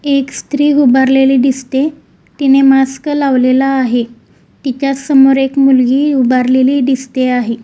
एक स्त्री उभारलेली दिसते तिने मास्क लावलेला आहे तिच्यासमोर एक मुलगी उभारलेली दिसते आहे.